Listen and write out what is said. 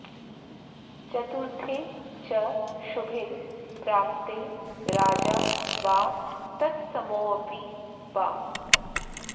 चतुर्थे च शुभे प्राप्ते राजा वा तत्समोऽपि वा